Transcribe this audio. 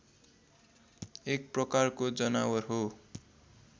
एक प्रकारको जनावर हो